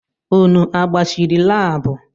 Unu agbachiri laabu?